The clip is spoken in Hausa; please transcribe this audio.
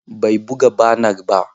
Bai buga banar ba.